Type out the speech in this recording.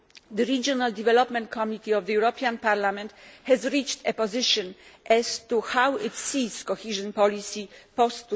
The Regional Development Committee of the European Parliament has reached a position as to how it sees cohesion policy post